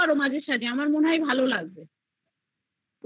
তুমি ওটা দেখতে পারো মাঝে সাজে তোমার ওটা ভালো লাগবে